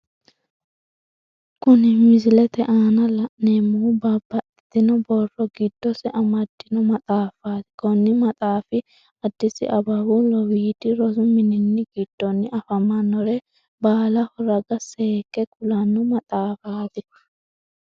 Kunni misilete aanna la'neemohu babbaxitino borro gidosi amadino maxaafaati konni maxaafi adisi ababu lowiidi rosu minni gidonni afamanore baalaho raga seeke kulano maxaafaati.